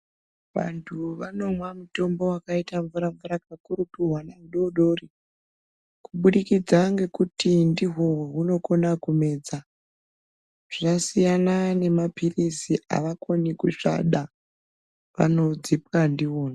Vantu vanomwa mutombo wakaita mvura mvura kana kuri kuhwana hudori dori kubudikidza ngekuti ndihwo hwohunokona kumedza, zvasiyana nemaphirizi, havakoni kusvada vanodzipwa ndiwona.